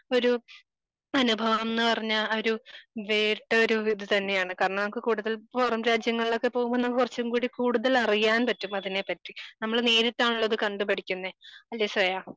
ഒരു അനുഭവം ന്ന് പറഞ്ഞാൽ ഒരു വേറിട്ടൊരു ഇത് തന്നെയാണ് കാരണം നമുക്ക് ഇപ്പോൾ കൂടുതൽപുറം രാജ്യങ്ങളിലൊക്കെ പോകുമ്പോൾ എന്നാ കുറച്ചും കൂടി കൂടുതൽ അറിയാൻ പറ്റും അതിനെ പറ്റി നമ്മള് നേരിട്ടാണല്ലോ ഇത് കണ്ട് പഠിക്കുന്നെ അല്ലേ ശ്രേയാ?